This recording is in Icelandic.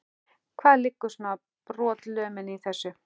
Hvar liggur svona brotalömin í þessu?